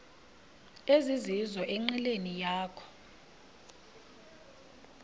ezizizo enqileni yakho